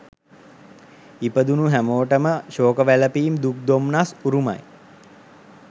ඉපදුණු හැමෝටම ශෝක වැළපීම් දුක් දොම්නස් උරුමයි